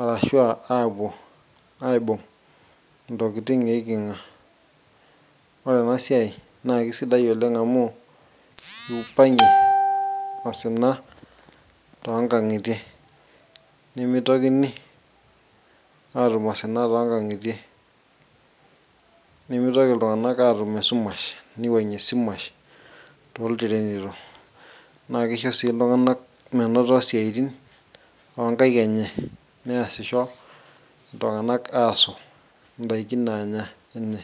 arashua aapuo aibung intokiting eiking'a ore ena siai naa kisidai oleng amu kiupang'ie osina tonkang'itie nemitokini aatum osina tonkang'itie nemitoki iltung'anak aatum esumash niwuang'ie esumash toltirenito naa kisho sii iltung'anak menoto siaitin onkaik enye neasisho iltung'anak aasu indaiki nanya enye.